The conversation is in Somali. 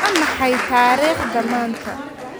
Waa maxay taariikhda maanta?